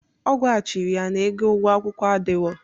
Ọ gwachiri ya na ego ụgwo akwụkwọ adịrọ.